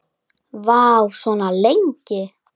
Vá, svona lengi?